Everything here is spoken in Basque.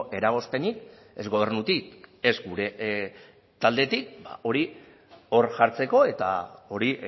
eragozpenik ez gobernutik ez gure taldetik hori hor jartzeko eta hori